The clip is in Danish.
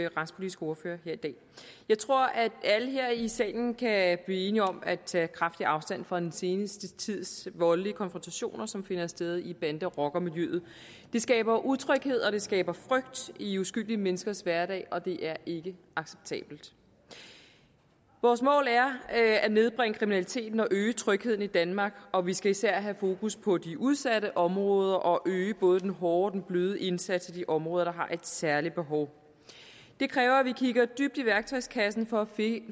retspolitiske ordfører jeg tror at alle her i salen kan blive enige om at tage kraftig afstand fra den seneste tids voldelige konfrontationer som finder sted i bande rocker miljøet det skaber utryghed og det skaber frygt i uskyldige menneskers hverdag og det er ikke acceptabelt vores mål er at nedbringe kriminaliteten og øge trygheden i danmark og vi skal især have fokus på de udsatte områder og øge både den hårde og den bløde indsats i de områder der har et særligt behov det kræver at vi kigger dybt i værktøjskassen for at